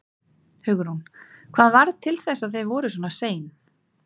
Hugrún: Hvað varð til þess að þið voruð svona sein?